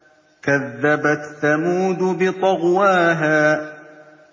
كَذَّبَتْ ثَمُودُ بِطَغْوَاهَا